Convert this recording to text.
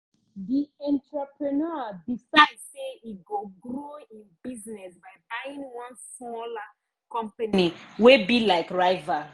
the entrepreneur decide say e go grow him business by buying one smaller company wey be like rival.